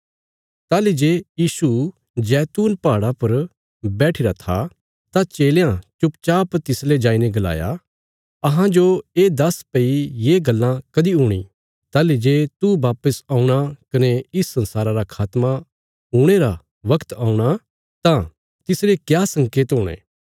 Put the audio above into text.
ताहली जे यीशु जैतून पहाड़ा पर बैठिरा था तां चेलयां चुपचाप तिसले आईने गलाया अहांजो ये दस्स भई ये गल्लां कदीं हूणी ताहली जे तू वापस औणा कने इस संसारा रा खात्मा हुणे रा बगत औंणा तां तिसरे क्या संकेत हुणे